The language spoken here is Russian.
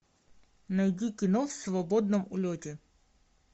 найди кино в свободном улете